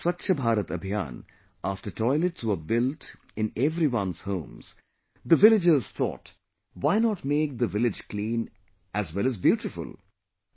Under the Swachh Bharat Abhiyan, after toilets were built in everyone's homes, the villagers thought why not make the village clean as well as beautiful